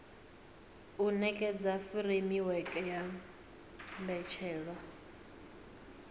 u nekedza furemiweke ya mbetshelwa